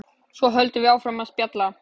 Svo höldum við áfram að spjalla.